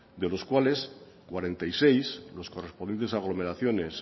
de los cuales cuarenta y seis los correspondientes a aglomeraciones